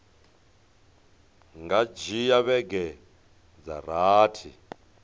nga dzhia vhege dza rathi